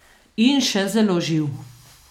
In še zelo živ.